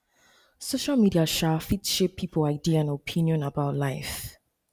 social media um fit shape pipo idea and opinion about life